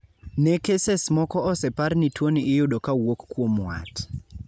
ne keses moko osepar ni tuoni iyudo kawuok kuom wat